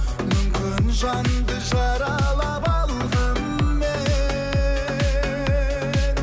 мүмкін жанды жаралап алғанмен